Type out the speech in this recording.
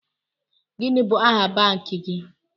Gini bụ aha banki gi?